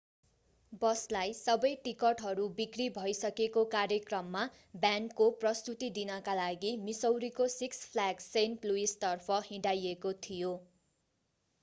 बसलाई सबै टिकटहरू बिक्री भइसकेको कार्यक्रममा ब्यान्डको प्रस्तुती दिनका लागि मिसौरीको सिक्स फ्ल्याग सेन्ट लुइसतर्फ हिँडाइएको थियो